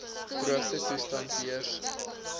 droogte toestande heers